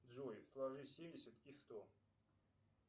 джой сложи семьдесят и сто